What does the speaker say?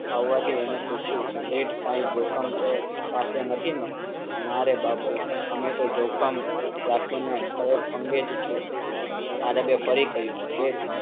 આવવા થી એણે પૂછ્યું, સેઠ કાંઇ જોખમ ચોક પાસે નથી ને? મારે બાપૂ. અમે તો જોખમ રાખી ને ખડે પગે છે. આરબ ફરી કહ્યું